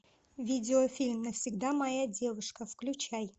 видеофильм навсегда моя девушка включай